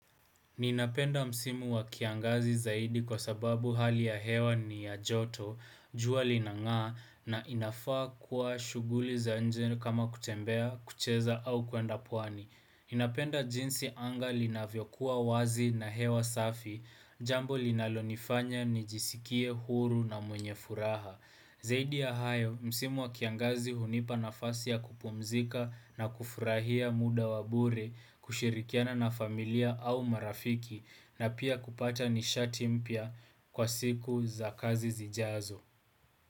Ninapenda msimu wa kiangazi zaidi kwa sababu hali ya hewa ni ya joto, jua linangaa na inafaa kuwa shughuli za nje ni kama kutembea, kucheza au kuenda pwani. Ninapenda jinsi anga li na vyokuwa wazi na hewa safi, jambo linalonifanya ni jisikie huru na mwenye furaha. Zaidi ya hayo, msimu wa kiangazi hunipa nafasi ya kupumzika na kufurahia muda wabure kushirikiana na familia au marafiki na pia kupata nishati mpya kwa siku za kazi zijazo.